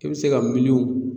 I bɛ se ka miliyɔn